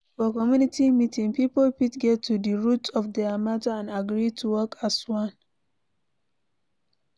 for community meeting, pipo fit get to di root of their matter and agree to work as one